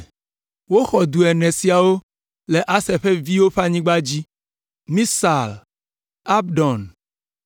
Woxɔ du ene siawo le Aser ƒe viwo ƒe anyigba dzi: Misal, Abdon,